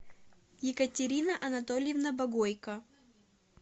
екатерина анатольевна богойко